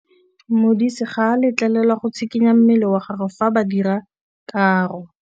Modise ga a letlelelwa go tshikinya mmele wa gagwe fa ba dira karô.